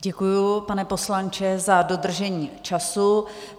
Děkuji, pane poslanče, za dodržení času.